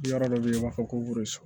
Yɔrɔ dɔ bɛ yen u b'a fɔ ko